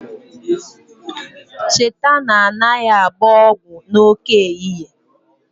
Cheta na anaghị agba ọgwụ n'oké ehihie